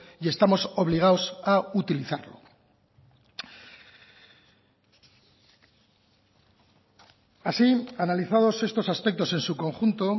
y estamos obligados a utilizarlo así analizados estos aspectos en su conjunto